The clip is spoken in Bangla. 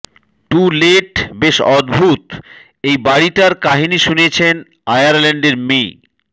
টু লেট বেশ অদ্ভুত এই বাড়িটার কাহিনি শুনিয়েছেন আয়ারল্যাণ্ডের মি